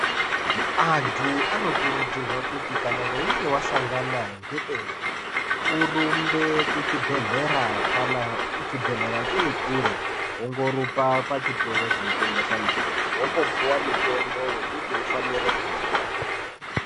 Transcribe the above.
Antu anokurudzirwa kuti kana weinge wasangana ngedenda, urumbe kuchibhedhlera, kana chibhedhlera chirikure wongorumba pachitoro chinotengesa mitombo, wombopuwa mitombo wekuti umbofane kumwa.